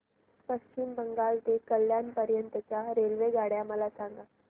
पश्चिम बंगाल ते कल्याण पर्यंत च्या रेल्वेगाड्या मला सांगा